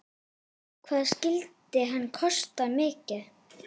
Hvað skyldi hann kosta mikið?